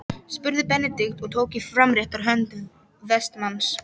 spurði Benedikt og tók í framrétta hönd Vestmanns.